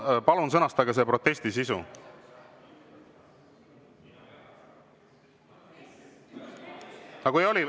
Palun sõnastage see protesti sisu.